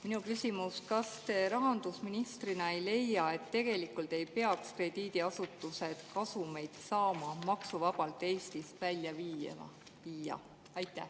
Minu küsimus: kas te rahandusministrina ei leia, et tegelikult ei peaks krediidiasutused kasumeid saama maksuvabalt Eestist välja viia?